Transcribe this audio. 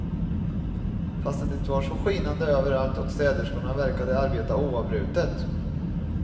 Fastän det var så skinande överallt och städerskorna verkade arbeta oavbrutet.